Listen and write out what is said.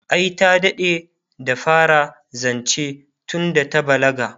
ai ta daɗe da fara zance tunda ta balaga